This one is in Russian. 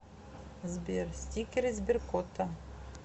сбер стикеры сберкота